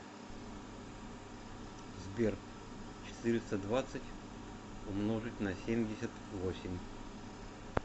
сбер четыреста двадцать умножить на семьдесят восемь